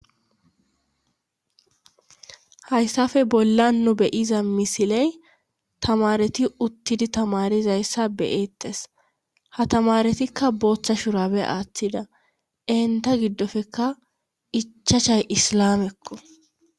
hayssafe bolla nu beyiza misiley tamareti uttidi tamarizayssa beyeettes ha tamaretikka booththa shurabe aaththida enta giddofeka ichacshay islamekko